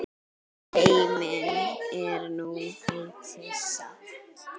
Heimir: En þú mættir samt?